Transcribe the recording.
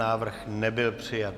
Návrh nebyl přijat.